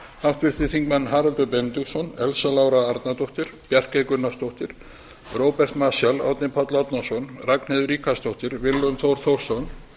háttvirtir þingmenn haraldur benediktsson elsa lára arnardóttir bjarkey gunnarsdóttir róbert marshall árni páll árnason ragnheiður ríkharðsdóttir willum þór þórsson